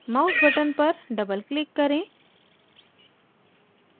mouse button पर doubleclick करें